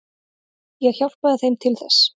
Ég hjálpaði þeim til þess.